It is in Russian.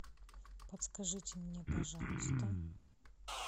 подскажите мне пожалуйста